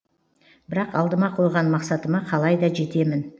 бірақ алдыма қойған мақсатыма қалайда жетемін